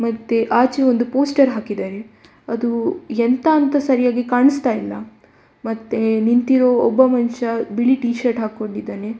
ಮತ್ತೆ ಆಚೆ ಒಂದು ಪೋಸ್ಟರ್ ಹಾಕಿದೆ.‌ ಅದು ಎಂತ ಅಂತ ಸರಿಯಾಗಿ ಕಾಣಿಸ್ತಾ ಇಲ್ಲ. ಮತ್ತೆ ನಿಂತಿರೋ ಒಬ್ಬ ಮನುಷ್ಯ ಬಿಳಿ ಟಿಷರ್ಟ್‌ ಹಾಕೊಂಡಿದ್ದಾನೆ.